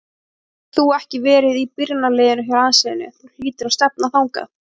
Nú hefur þú ekki verið í byrjunarliðinu hjá landsliðinu, þú hlýtur að stefna þangað?